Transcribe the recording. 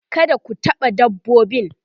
kada ku taɓa dabbobin